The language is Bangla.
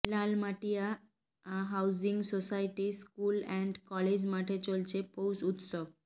Lalmatia housing society school and college মাঠে চলছে পৌষ উৎসব